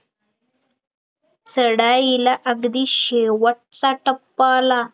चढाईला अगदी शेवटचा टप्पा आला